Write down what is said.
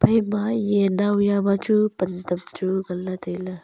phaima ye naw ya ma chu pan tam chu ngan ley tailey.